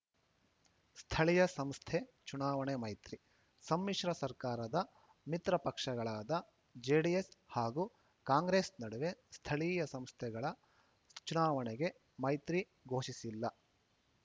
ಸ್ಥಳೀಯ ಸಂಸ್ಥೆ ಚುನಾವಣೆ ಮೈತ್ರಿ ಸಮ್ಮಿಶ್ರ ಸರ್ಕಾರದ ಮಿತ್ರ ಪಕ್ಷಗಳಾದ ಜೆಡಿಎಸ್‌ ಹಾಗೂ ಕಾಂಗ್ರೆಸ್‌ ನಡುವೆ ಸ್ಥಳೀಯ ಸಂಸ್ಥೆಗಳ ಚುನಾವಣೆಗೆ ಮೈತ್ರಿ ಘೋಷಿಸಿಲ್ಲ